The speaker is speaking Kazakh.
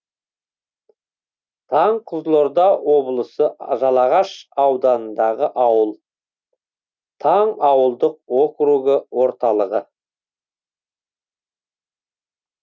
таң қызылорда облысы жалағаш ауданындағы ауыл таң ауылдық округі орталығы